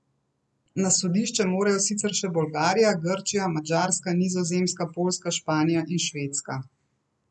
Na sodišče morajo sicer še Bolgarija, Grčija, Madžarska, Nizozemska, Poljska, Španija in Švedska.